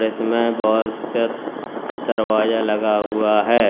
और इसमें बहुत से दरवाजे लगा हुआ है।